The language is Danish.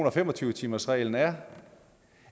og fem og tyve timersreglen er